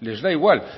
les da igual